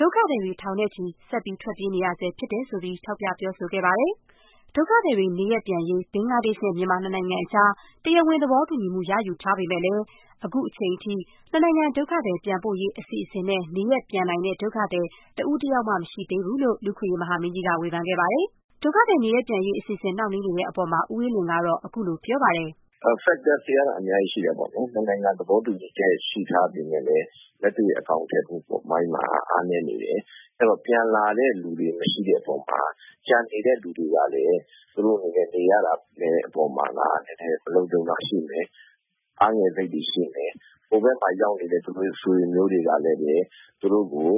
ဒုက္ခသည်တွေ ထောင်နဲ့ချီ ဆက်ပြီး ထွက်ပြေးလာနေ တုန်းပဲ လို့ ထောက်ပြ ပြောဆိုခဲ့ပါတယ်။ ဒုက္ခသည်တွေ နေရပ်ပြန်ရေး ဘင်္ဂလားဒေ့ရှ်နဲ့ မြန်မာ နှစ်နိုင်ငံကြား တရားဝင်သဘောတူညီမှု ရယူထားပေမဲ့လည်း အခုချိန်ထိ နှစ်နိုင်ငံ ဒုက္ခသည်ပြန်ပို့ရေး အစီအစဉ်နဲ့ နေရပ်ပြန်နိုင်တဲ့ ဒုက္ခသည် တဦးတယောက်မှ မရှိသေးဘူးလို့ လူ့အခွင့်အရေး မဟာမင်းကြီးက ဝေဖန်ပါတယ်။ ဒုက္ခသည် နေရပ်ပြန်ရေးအစီအစဉ် နှောင့်နှေးနေတဲ့အပေါ် ဦးအေးလွင်ကတော့ ခုလို ပြောပါတယ်။ “factors တွေကတော့ အများကြီးရှိတာပေါ့လေ။ နှစ်နိုင်ငံ သဘောတူညီချက် ရှိထားပေမဲ့လည်း လက်တွေ့ အကောင်အထည်ဖော်မှု အပိုင်းမှာ အားနည်းနေတယ်။ အဲဒီတော့ ပြန်လာတဲ့သူတွေ မရှိတဲ့အပေါ်မှာ ကျန်နေတဲ့သူတွေကလည်း သူတို့အနေနဲ့ နေ နေရတဲ့အပေါ်မှာ နည်းနည်း မလုံခြုံတာ ရှိမယ်။ အားငယ်စိတ်တွေ ရှိမယ်။ ဟိုဘက်မှာရောက်နေတဲ့ သူတို့ ဆွေတွေမျိုးတွေကလည်း သူတို့ကို